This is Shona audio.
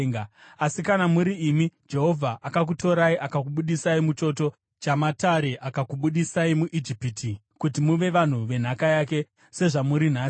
Asi kana muri imi, Jehovha akakutorai akakubudisai muchoto chamatare, akakubudisai muIjipiti, kuti muve vanhu venhaka yake, sezvamuri nhasi.